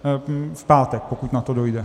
V pátek, pokud na to dojde.